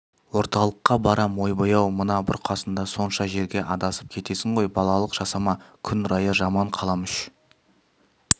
орталыққа барам ойбай-ау мына бұрқасында сонша жерге адасып кетесің ғой балалық жасама күн райы жаман қаламүш